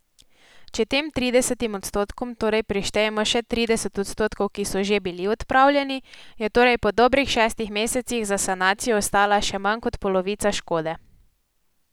Če tem tridesetim odstotkom torej prištejemo še trideset odstotkov, ki so že bili odpravljeni, je torej po dobrih šestih mesecih za sanacijo ostala še manj kot polovica škode.